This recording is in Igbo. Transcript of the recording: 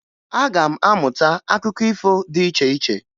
Aga m amụta akụkọ ifo dị iche iche.